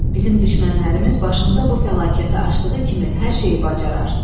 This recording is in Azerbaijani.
Bizim düşmənlərimiz başımıza bu fəlakəti aşdığı kimi hər şeyi bacarar.